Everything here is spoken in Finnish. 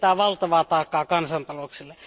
Se tietää valtavaa taakkaa kansantalouksille.